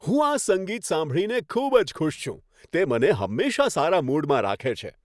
હું આ સંગીત સાંભળીને ખૂબ જ ખુશ છું. તે મને હંમેશા સારા મૂડમાં રાખે છે.